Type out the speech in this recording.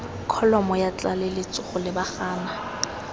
kholomo ya tlaleletso go lebagana